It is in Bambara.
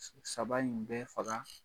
saba in bɛ faga